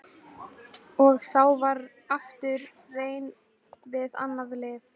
Og þá var aftur reynt við annað lyf.